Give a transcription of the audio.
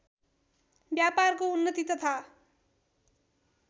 व्यापारको उन्नति तथा